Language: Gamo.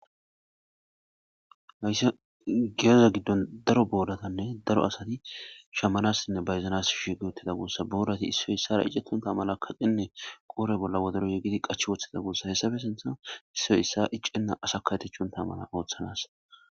hayssa giyeza giddon daro boodatanne daro asati shamalassinne bayzanas shigeotida guossa boodati issoy issara icettonta mala kaqenne qoore bolla wodero yegidi qach woththida guossa hessabe sinthan issoy issa iccenna asakaetechun ta mana ooththanas